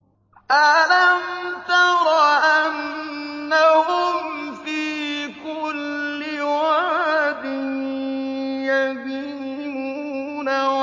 أَلَمْ تَرَ أَنَّهُمْ فِي كُلِّ وَادٍ يَهِيمُونَ